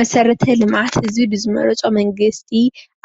መሰረተ ልምዓት እዚ ብዝመረፆ መንግስቲ